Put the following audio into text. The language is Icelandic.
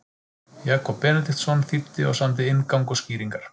Jakob Benediktsson þýddi og samdi inngang og skýringar.